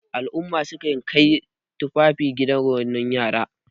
al'umma sukan Kai tufafi gidan renon yara